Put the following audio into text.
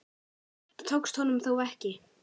Þetta tókst honum þó ekki.